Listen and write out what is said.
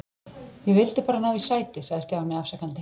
Ég vildi bara ná í sæti sagði Stjáni afsakandi.